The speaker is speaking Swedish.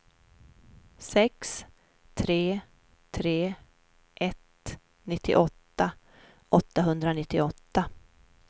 sex tre tre ett nittioåtta åttahundranittioåtta